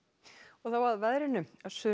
þá að veðri sunnan